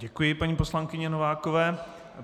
Děkuji paní poslankyni Novákové.